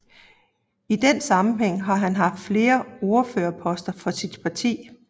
I den sammenhæng har han haft flere ordførerposter for sit parti